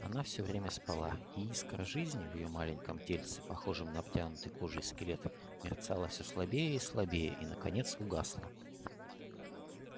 она всё время спала и искра жизни в её маленьком тельце похожем на обтянутый кожей скелет мерцала все слабее и слабее и наконец угасла